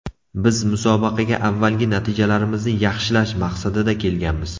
Biz musobaqaga avvalgi natijalarimizni yaxshilash maqsadida kelganmiz.